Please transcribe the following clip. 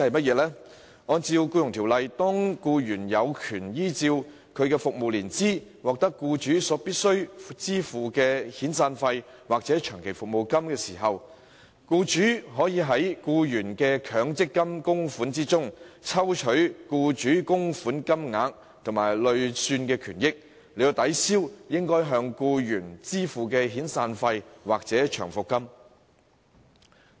根據《僱傭條例》，當僱員有權按其服務年資，獲得僱主必須支付的遣散費或長期服務金時，僱主可從僱員的強積金供款中，抽取僱主供款部分及其累算權益，以抵銷應該向僱員支付的遣散費或長期服務金。